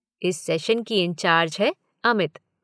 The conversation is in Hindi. इस सेशन की इंचार्ज है अमित।